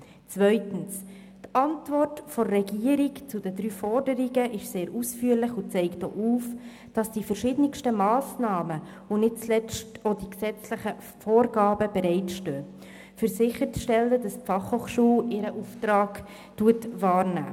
Zweitens ist die Antwort der Regierung auf die drei Forderungen sehr ausführlich und zeigt auf, dass verschiedene Massnahmen, und nicht zuletzt auch gesetzliche Vorgaben, bereitstehen, um sicherzustellen, dass die FH ihren Auftrag wahrnimmt.